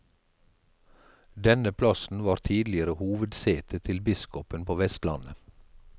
Denne plassen var tidligere hovedsetet til biskopen på vestlandet.